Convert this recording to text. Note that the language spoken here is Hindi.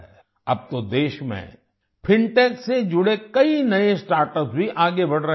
अब तो देश में फिनटेक से जुड़े कई नये स्टार्टअप्स भी आगे बढ़ रहे हैं